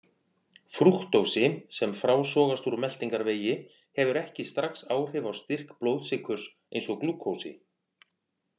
Frúktósi, sem frásogast úr meltingarvegi, hefur ekki strax áhrif á styrk blóðsykurs eins og glúkósi.